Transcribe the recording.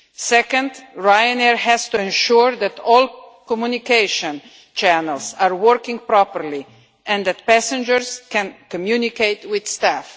Secondly, Ryanair has to ensure that all communication channels are working properly and that passengers can communicate with staff.